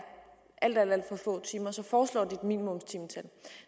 alt alt for få timer så foreslår de et minimumstimetal